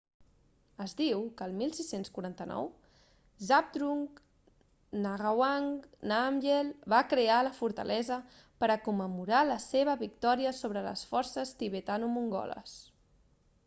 es diu que el 1649 zhabdrung ngawang namgyel va crear la fortalesa per a commemorar la seva victòria sobre les forces tibetano-mongoles